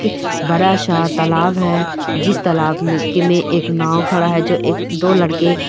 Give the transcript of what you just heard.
बड़ा सा तालाब है जिस तालाब में एक नाव खड़ा है जो एक दो लड़के--